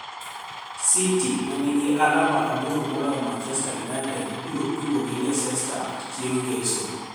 City, ma niigi alama aboro maloyo Manichester Uniited, biro tugo gi Leicester chienig' nigeso.